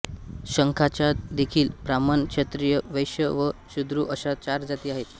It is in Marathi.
शंखाच्यादेखील ब्राह्मण क्षत्रिय वैश्य व शूद्र अशा चार जाती आहेत